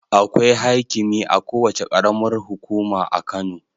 Akwai haikimi a kowace ƙaram hukuma a Kano